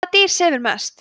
hvaða dýr sefur mest